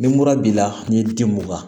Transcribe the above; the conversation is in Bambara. Ni mura b'i la n ye di mugan